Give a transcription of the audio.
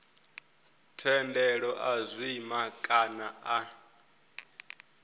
thendelo a zwima kana a